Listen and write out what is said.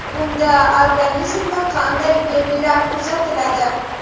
Bunda organizmda qanday belgilar kuzatiladi?